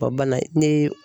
Wa bana ne ye